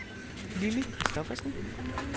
Lilli Christophersen